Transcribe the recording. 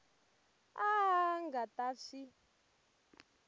a a nga ta swi